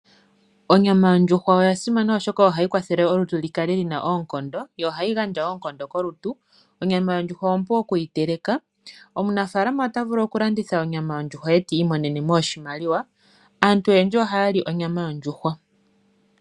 Onyama yondjuhwa oya simana oshoka ohayi kwathele olutu li kale lina oonkondo, yo ohayi gandja wo oonkondo kolutu. Onyama yondjuhwa ompu okuyi teleka. Omunafalama ota vulu okulanditha onyama yondjuhwa etiimonene mo oshimaliwa. Aantu oyendji ohaya li onyama yondjuhwa.